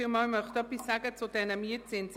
Ich möchte etwas zu diesen Mietzinsen sagen.